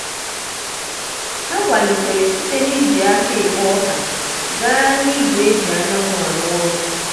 ha kwalitere site n'iji aka ekpo ọka gaa na igwe e ji anyanwụ arụ ọrụ.